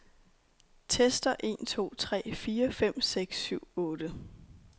Tester en to tre fire fem seks syv otte.